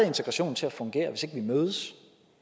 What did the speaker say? integrationen til at fungere hvis ikke vi mødes